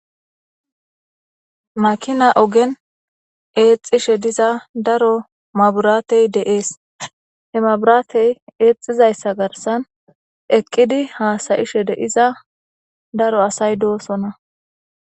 makina ogen eexxishe diza daro maburaatey deees he maburaatey eexxizayssa garsan eqqidi haasayishe deiza daro asay doosona